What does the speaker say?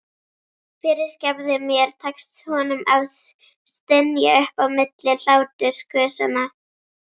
Fyrirgefðu mér, tekst honum að stynja upp á milli hlátursgusanna.